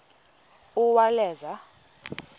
uwaleza